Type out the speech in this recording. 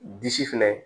Disi fɛnɛ